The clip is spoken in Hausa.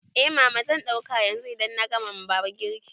Eh mama, zan ɗauka yanzu idan na gama wa baba girki